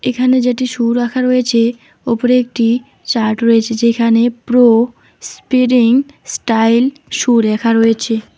এখানে যেটি শু রাখা রয়েছে ওপরে একটি চার্ট রয়েছে যেখানে প্রো স্পিরিং স্টাইল শু লেখা রয়েছে।